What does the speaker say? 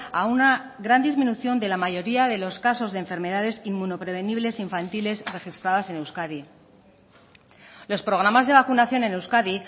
a una gran disminución de la mayoría de los casos de enfermedades inmunoprevenibles infantiles registradas en euskadi los programas de vacunación en euskadi